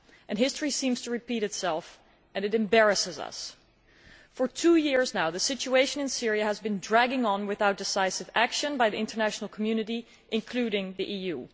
And history seems to repeat itself and it embarrasses us. For two years now, the situation in Syria has been dragging on without decisive action by the international community, including the EU.